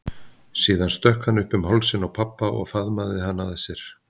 Síðan stökk hann upp um hálsinn á pabba og faðmaði hann að sér.